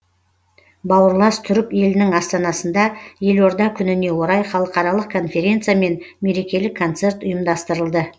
бауырлас түрік елінің астанасында елорда күніне орай халықаралық конференция мен мерекелік концерт ұйымдастырылды